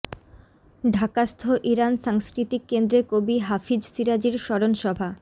ঢাকাস্থ Iran সাংস্কৃতিক কেন্দ্রে কবি হাফিজ শিরাজির স্মরণ সভা